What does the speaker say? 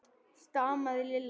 stamaði Lilla.